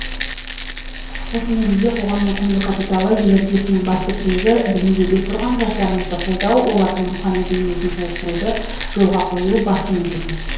осы негізде қоғамның құнды капиталы ел іргесінің басты тірегі білімге бет бұрған жастарымызды қолдау олардың рухани дүниесін толықтыруды жолға қою басты міндетіміз